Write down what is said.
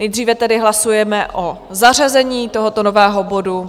Nejdříve tedy hlasujeme o zařazení tohoto nového bodu.